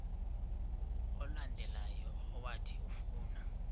olandelayo owathi ufuna